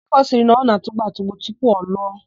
Ọkụkọ sịrị na ọ na-atugbu atugbu tupu o loo.